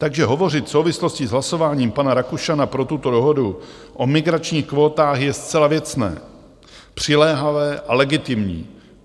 Takže hovořit v souvislosti s hlasováním pana Rakušana pro tuto dohodu o migračních kvótách je zcela věcné, přiléhavé a legitimní.